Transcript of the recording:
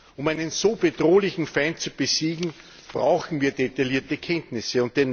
Um einen so bedrohlichen Feind zu besiegen, brauchen wir detaillierte Kenntnisse.